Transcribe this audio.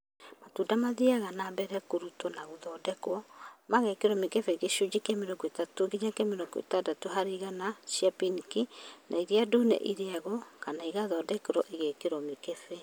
Matunda mathiaga na mbere kũrutwo na gũthondekwo igekĩrwo mĩkebe gĩcunjĩkĩa 30-60% cia pinki na iria ndune irĩagwo kana igathondekwo igekĩrwo mĩkebe